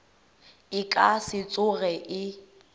e ka se tsoge e